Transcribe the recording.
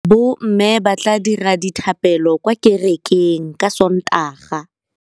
Bommê ba tla dira dithapêlô kwa kerekeng ka Sontaga.